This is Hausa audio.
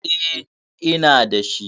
Eh, ina dashi.